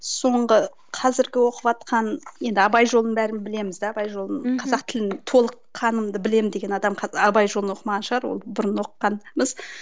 соңғы қазіргі оқыватқан енді абай жолын бәріміз білеміз да абай жолын қазақ тілін толыққанымды білемін деген адам абай жолын оқымаған шығар ол бұрын оқығанбыз